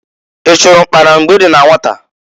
I chụrụ ụkpana mgbe i dị na nwata?